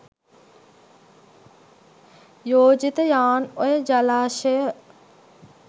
යෝජිත යාන් ඔය ජලාශය